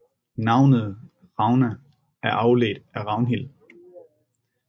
Navnet Ragna er afledt af Ragnhild